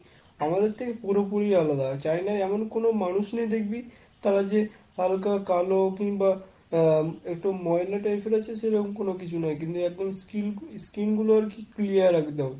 আমাদের থেকে পুরোপুরি আলাদা। China য় এমন কোন মানুষ নেই দেখবি, তারা যে হালকা কালো, কিংবা উম একটু ময়লা টাইপের আছে সেরম কোন কিছু না। কিন্তু একদম skin~ skin গুলো একদম clear একদম।